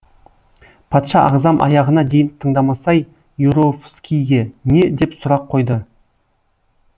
патша ағзам аяғына дейін тыңдамасай юровскийге не деп сұрақ қойды